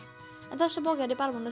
en þessa bók er ég bara búin